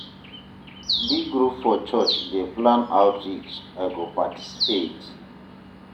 D group for church dey plan outreach, I go participate.